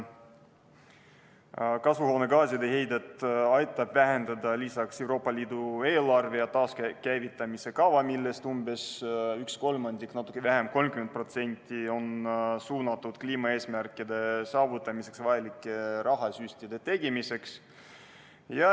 Kasvuhoonegaaside heidet aitavad vähendada ka Euroopa Liidu eelarve ja taaskäivitamise kava, millest umbes üks kolmandik ehk natuke vähem kui 30% on suunatud kliimaeesmärkide saavutamiseks vajalike rahasüstide tegemiseks.